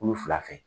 Kulu fila fɛ